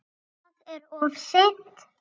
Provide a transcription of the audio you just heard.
Það er of seint.